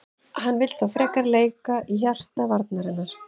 Hann vill þó frekar leika í hjarta varnarinnar.